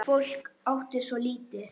Fólk átti svo lítið.